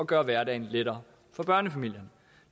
gøre hverdagen lettere for børnefamilierne